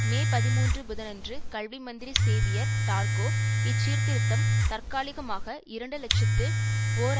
மே பதிமூன்று புதனன்று கல்வி மந்திரி சேவியர் டார்கோ இச்சீர்திருத்தம் தற்காலிகமாக இரண்டு இலட்சத்தி ஓர்